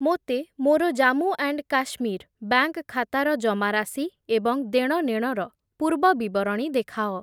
ମୋତେ ମୋର Jammu and Kashmir bank ଖାତାର ଜମାରାଶି ଏବଂ ଦେଣନେଣର ପୂର୍ବବିବରଣୀ ଦେଖାଅ ।